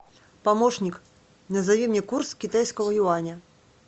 помощник назови мне курс китайского юаня